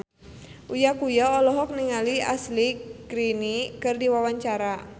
Uya Kuya olohok ningali Ashley Greene keur diwawancara